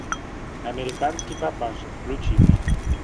американский папаша включи мне